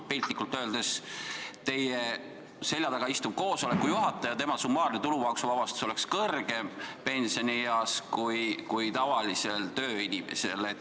Piltlikult öeldes oleks teie selja taga istuva juhataja summaarne tulumaksuvabastus pensionieas kõrgem kui tavalisel tööinimesel.